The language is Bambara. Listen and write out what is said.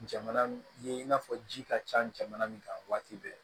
Jamana ni in n'a fɔ ji ka ca jamana min kan waati bɛɛ